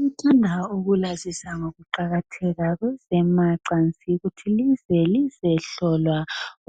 Ngithanda ukulazisa ngezamacansi.